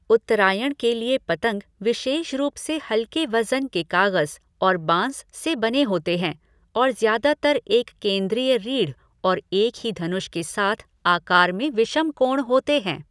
उत्तरायण के लिए पतंग विशेष रूप से हल्के वज़न के कागज़ और बाँस से बने होते हैं और ज़्यादातर एक केंद्रीय रीढ़ और एक ही धनुष के साथ आकार में विषमकोण होते हैं।